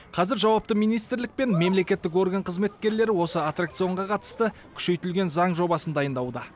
қазір жауапты министрлік пен мемлекеттік орган қызметкерлері осы аттракционға қатысты күшейтілген заң жобасын дайындауда